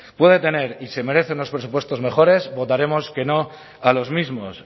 puede tener y se merece unos presupuestos mejores votaremos que no a los mismos